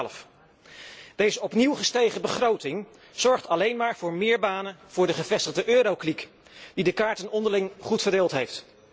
2012. Deze opnieuw gestegen begroting zorgt alleen maar voor meer banen voor de gevestigde eurokliek, die de kaarten onderling goed verdeeld heeft.